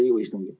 Kalvi, Kalvi!